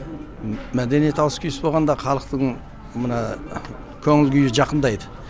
мәдениет ауыс түйіс болғанда халықтың мына көңіл күйі жақындайды